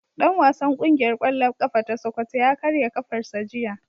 Dan wasan kungiyar kwallon kafa ta sokoto ya karya kafarsa jiya.